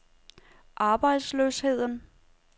arbejdsløsheden